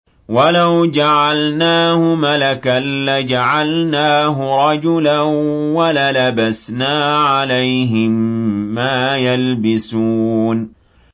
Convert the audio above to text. وَلَوْ جَعَلْنَاهُ مَلَكًا لَّجَعَلْنَاهُ رَجُلًا وَلَلَبَسْنَا عَلَيْهِم مَّا يَلْبِسُونَ